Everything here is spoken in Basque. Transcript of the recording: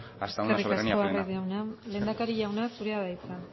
hasta una soberanía plena eskerrik asko arraiz jauna lehendakari jauna zurea da hitza